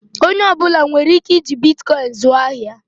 Onye ọ bụla nwere ike iji Bitikoin zụọ ahịa?